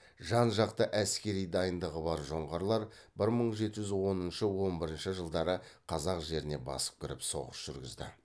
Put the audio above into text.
жан жақты әскери дайындығы бар жоңғарлар бір мың жеті жүз оныншы он бірінші жылдары қазақ жеріне басып кіріп соғыс жүргізді